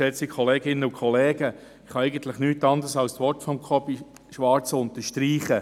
Ich kann eigentlich nicht anders tun, als die Worte von Jakob Schwarz zu unterstreichen.